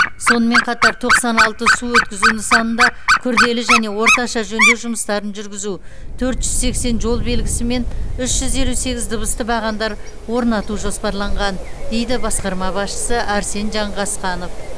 сонымен қатар тоқсан алты су өткізу нысанында күрделі және орташа жөндеу жұмыстарын жүргізу төрт жүз сексен жол белгісі мен үш жүз елу сегіз дыбысты бағандар орнату жоспарланған дейді басқарма басшысы арсен жанғасқанов